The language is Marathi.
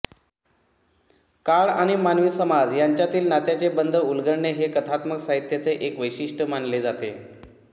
काळ आणि मानवी समाज यांच्यातील नात्याचे बंध उलगडणे हे कथात्म साहित्याचे एक वैशिष्ट्य़ मानले जाते